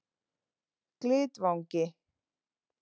Glitvangi